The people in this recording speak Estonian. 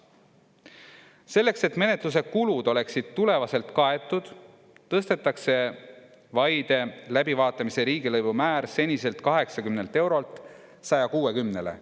Selleks, et menetluse kulud oleksid tulevaselt kaetud, tõstetakse vaide läbivaatamise riigilõivumäär seniselt 80 eurolt 160-le.